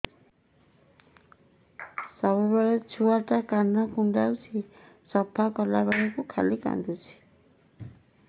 ସବୁବେଳେ ଛୁଆ ଟା କାନ କୁଣ୍ଡଉଚି ସଫା କଲା ବେଳକୁ ଖାଲି କାନ୍ଦୁଚି